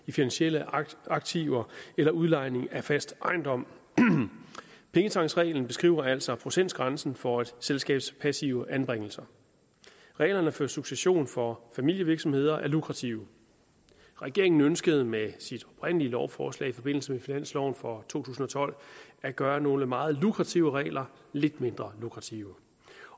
i finansielle aktiver eller udlejning af fast ejendom pengetanksreglen beskriver altså procentgrænsen for et selskabs passive anbringelser reglerne for succession for familievirksomheder er lukrative regeringen ønskede med sit lovforslag i forbindelse med finansloven for to tusind og tolv at gøre nogle meget lukrative regler lidt mindre lukrative